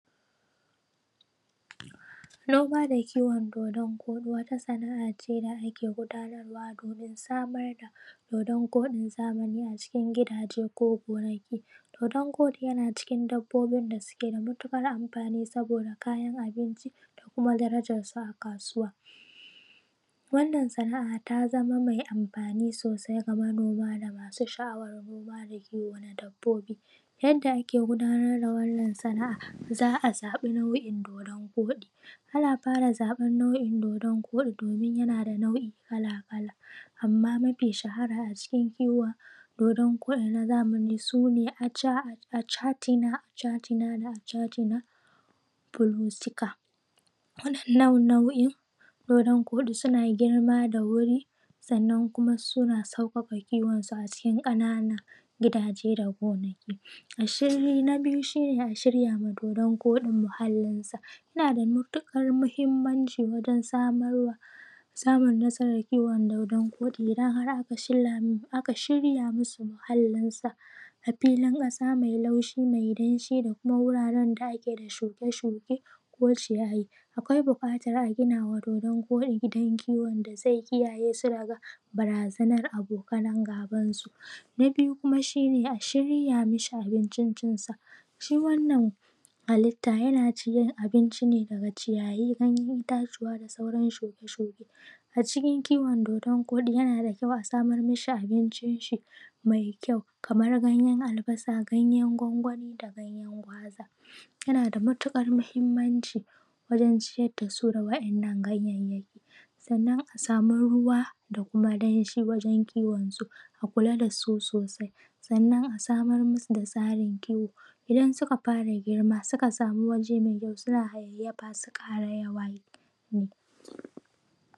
Noma da kiwon dodon koɗi wata sana’a ce da ake gudanarwa domin samar da dodon koɗin zamani a cikin gidaje ko gonaki. Dodon koɗi yana cikin dabbobi da suke da matuƙar amfani saboda kayan abinci da kuma darajarsa a kasuwa. Wannan san’a ta zama mai amfani sosai kamar noma ga masu sha’awar noma da kiwo na dabbobi. Yadda ake gudanar da wannan sana’a, za a zaɓi nau’in dodon koɗi. ana fara zaɓan nau’in dodon koɗi domin yana da nau’i kala kala, amma mafi shahara a cikin kiwon dodon koɗi na zamani sune achatina achatina pulostica. Wa’innan nau’in dodon koɗin suna girma da wuri, sannan kuma suna sauƙaƙa kiwon su a cikin ƙananan gidaje da gonaki. Na biyu shine a shirya ma dodon koɗin muhallinsa. Yana da matuƙar muhimmanci wajen samarwa, samun nasarar kiwon dodon koɗi idan har aka shirya masa muhallinsa a filin ƙasa mai laushi, mai danshi, da kuma wuraren da ake da shuke shuke, ko ciyayi. Akwai buƙatar a gima wa dodon koɗi gidan kiwon da zai kiyaye su daga barazanar abokan gaban su. Na biyu kuma shine a shirya ma shi abincin cinsa. Shi wannan halitta yana cin abinci ne daga ciyayi, ganyen itatuwa da sauran shuke shuke. A cikin kiwon dodon koɗi yna da kyau a samar ma shi abincin shi mai kyau kamar ganyen albasa, ganyen gwangwani, da ganyen gwaza. Yana damatuƙar mahimmanci wajen ciyar da su da wa’innan ganyayyaki. Sannan a samu ruwa da kuma danshi wajen kiwon su. A kula da su sosai, sannan a samar masu da tsarin kiwo, idan suka fara girma, suka sami waje mai kyau suna hayayyafa su ƙara yawa